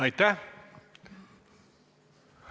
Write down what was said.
Aitäh!